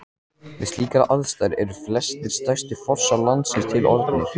Við slíkar aðstæður eru flestir stærstu fossar landsins til orðnir.